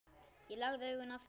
Ég lagði augun aftur.